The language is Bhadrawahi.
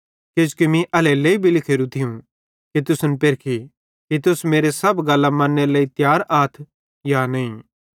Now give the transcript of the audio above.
किजोकि मीं एल्हेरेलेइ भी लिखोरू थियूं कि तुसन पेरखी कि तुस मेरे सब गल्लां मन्नेरे लेइ तियार आथ या नईं